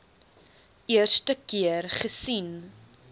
eerste keer gesien